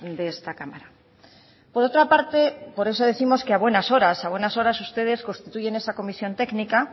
de esta cámara por otra parte por eso décimos que a buenas horas a buenas horas ustedes constituyen esa comisión técnica